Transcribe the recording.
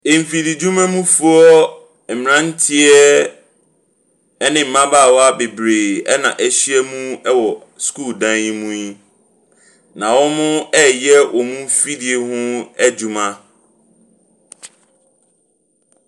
Mfididwumamfoɔ mmranteɛ ne mmabaawa bebree na wɔahyia mu wɔ sukuu dan mu yi. Na wɔreyɛ wɔn afidie ho adwuma.